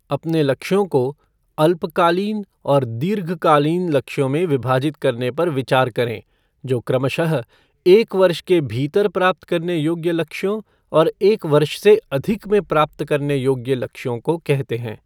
अपने लक्ष्यों को अल्पकालीन और दीर्घकालीन लक्ष्यों में विभाजित करने पर विचार करें, जो क्रमशः एक वर्ष के भीतर प्राप्त करने योग्य लक्ष्यों और एक वर्ष से अधिक में प्राप्त करने योग्य लक्ष्यों को कहते हैं।